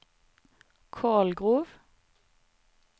Kolgrov